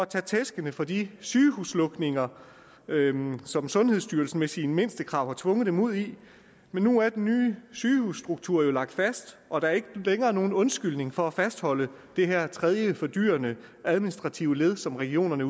tage tæskene for de sygehuslukninger som sundhedsstyrelsen med sine mindstekrav har tvunget dem ud i men nu er den nye sygehusstruktur jo lagt fast og der er ikke længere nogen undskyldning for at fastholde det her tredje fordyrende administrative led som regionerne